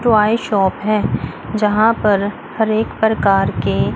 toy shop है जहां पर हर एक प्रकार के--